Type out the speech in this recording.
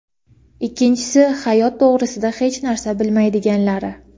ikkinchisi — hayot to‘g‘risida hech narsa bilmaydiganlari.